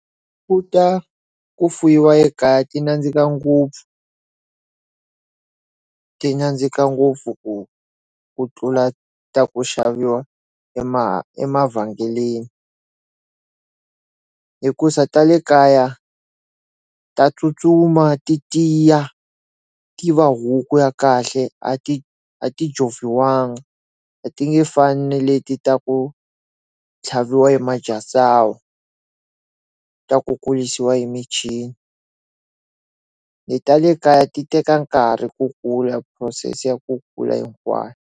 Ku ta ku fuyiwa ekaya ti nandzika ngopfu ti nandzika ngopfu ku ku tlula ta ku xaviwa ema emavhengeleni hikuza ta le kaya ta tsutsuma ti tiya ti va huku ya kahle a ti a joviwanga a ti nge fani ni leti ta ku tlhaviwa ta ku kurisiwa emichini ni ta le kaya ti teka nkarhi ku kula process ya ku kula hinkwayo.